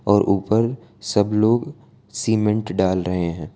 और ऊपर सब लोग सीमेंट डाल रहे है।